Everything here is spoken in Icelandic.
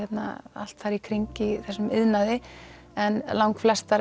allt þar í kring í þessum iðnaði en langflestar